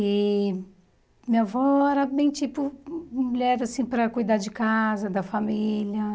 E minha avó era bem tipo mulher assim para cuidar de casa, da família.